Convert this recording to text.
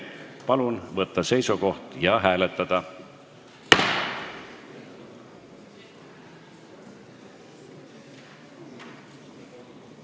Palun võtta seisukoht ja hääletada!